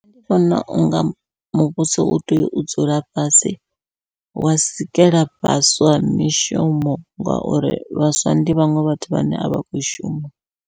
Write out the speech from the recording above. Nṋe ndi vhona unga muvhuso u tea u dzula fhasi wa sikela vhaswa mishumo, ngauri vhaswa ndi vhaṅwe vhathu vhane avha khou shuma.